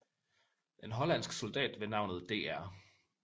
En hollandsk soldat ved navnet Dr